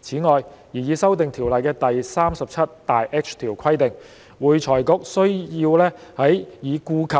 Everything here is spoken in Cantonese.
此外，擬議修訂的《條例》第 37H 條規定，會財局須在已顧及